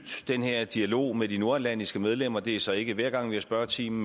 den her dialog med de nordatlantiske medlemmer det er så ikke hver gang vi har spørgetime